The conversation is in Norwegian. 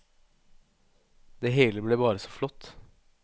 Det hele ble bare så flott.